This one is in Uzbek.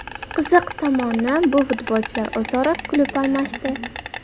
Qiziq tomoni, bu futbolchilar o‘zaro klub almashdi.